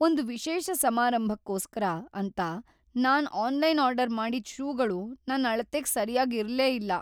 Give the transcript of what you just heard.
ಒಂದ್ ವಿಶೇಷ ಸಮಾರಂಭಕ್ಕೋಸ್ಕರ ಅಂತ ನಾನ್ ಆನ್ಲೈನಲ್ ಆರ್ಡರ್ ಮಾಡಿದ್ ಷೂಗಳು ನನ್ ಅಳತೆಗ್‌ ಸರ್ಯಾಗ್‌ ಇರ್ಲೇಇಲ್ಲ.